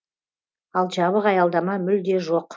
ал жабық аялдама мүлде жоқ